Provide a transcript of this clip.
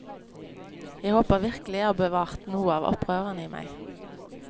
Jeg håper virkelig jeg har bevart noe av opprøreren i meg.